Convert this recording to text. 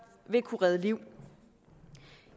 vil kunne redde liv